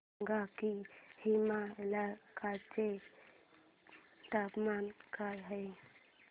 सांगा की हेमलकसा चे तापमान काय आहे